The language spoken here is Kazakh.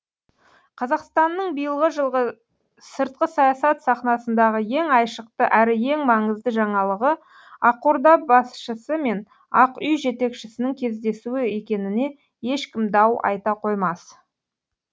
қазақстанның биылғы жылғы сыртқы саясат сахнасындағы ең айшықты әрі ең маңызды жаңалығы ақорда басшысы мен ақ үй жетекшісінің кездесуі екеніне ешкім дау айта қоймас